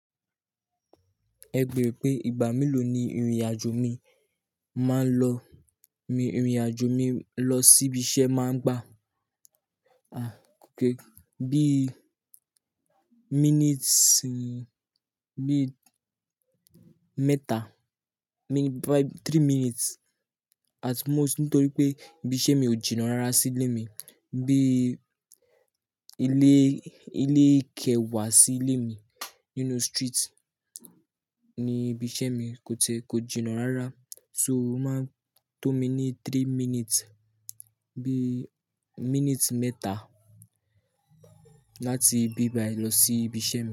Ẹ beere pé ìgbà mélòó ni ìrìn-àjò mi máa ń lọ, ìrìn-àjò mi lọ sí ibi iṣẹ́ máa ń gbà. À, bí minutes bí mẹ́ta, bí three minutes at most nítorí pé ibi iṣẹ́ mi ò jìnnà rárá sí ilé mi. Bí ilé, ilé ìkẹ́ wà sí ilé mi. You know, street ni ibi iṣẹ́ mi kò tẹ-- kò jìnnà rárá. So, ó máa ń tó mi ní three minutes, bí minutes mẹ́ta láti bíbai lọ sí ibi iṣẹ́ mi.